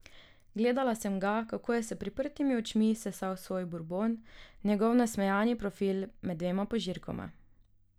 Gledala sem ga, kako je s priprtimi očmi sesal svoj burbon, njegov nasmejani profil med dvema požirkoma.